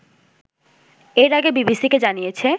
এর আগে বিবিসিকে জানিয়েছে